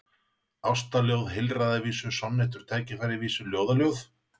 Ástaljóð, heilræðavísur, sonnettur, tækifærisvísur, ljóðaljóð?